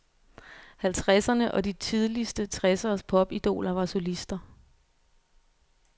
Halvtredserne og de tidligste tresseres popidoler var solister.